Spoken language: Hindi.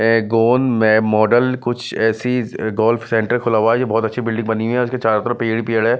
मॉडल कुछ ऐसी गोल्फ सेंटर खुला हुआ है ये बहुत अच्छी बिल्डिंग बनी हुई है और इसके चारों तरफ पेड़ ही पेड़ हैं।